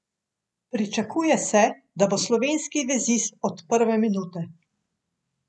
Pričakuje se, da bo slovenski vezist od prve minute.